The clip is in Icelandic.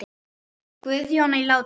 Guðjón á Látrum.